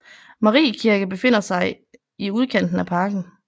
Mariekirke befinder i udkanten af parken